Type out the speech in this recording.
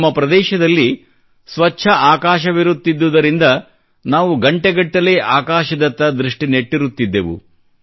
ನಮ್ಮ ಪ್ರದೇಶದಲ್ಲಿ ಸ್ವಚ್ಛ ಆಕಾಶವಿರುತ್ತಿದ್ದುದರಿಂದ ನಾವು ಗಂಟೆಗಟ್ಟಲೆ ಆಕಾಶದತ್ತ ದೃಷ್ಟಿ ನೆಟ್ಟಿರುತ್ತಿದ್ದೆವು